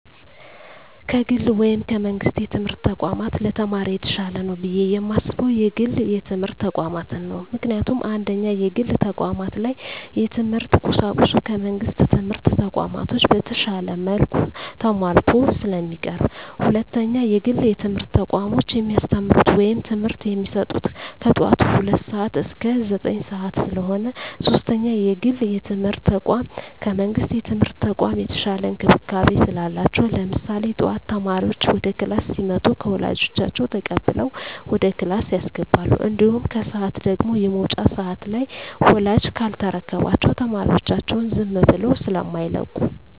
ከግል ወይም ከመንግስት የትምህርት ተቋማት ለተማሪ የተሻለ ነው ብየ የማስበው የግል የትምህርት ተቋማትን ነው። ምክንያቱም፦ 1ኛ, የግል ተቋማት ላይ የትምህርት ቁሳቁሱ ከመንግስት ትምህርት ተቋማቶች በተሻለ መልኩ ተማሟልተው ስለሚቀርቡ። 2ኛ, የግል የትምህርት ተቋሞች የሚያስተምሩት ወይም ትምህርት የሚሰጡት ከጠዋቱ ሁለት ሰዓት እስከ ዘጠኝ ሰዓት ስለሆነ። 3ኛ, የግል የትምርት ተቋም ከመንግስት የትምህርት ተቋም የተሻለ እንክብካቤ ስላላቸው። ለምሳሌ ጠዋት ተማሪዎች ወደ ክላስ ሲመጡ ከወላጆች ተቀብለው ወደ ክላስ ያስገባሉ። እንዲሁም ከሰዓት ደግሞ የመውጫ ሰዓት ላይ ወላጅ ካልተረከባቸው ተማሪዎቻቸውን ዝም ብለው ስማይለቁ።